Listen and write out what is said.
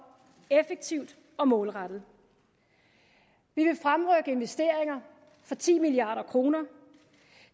effektivt og målrettet vi vil fremrykke investeringer for ti milliard kroner